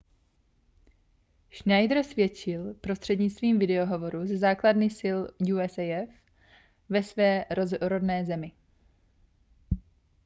schneider svědčil prostřednictvím video hovoru ze základny sil usaf ve své rodné zemi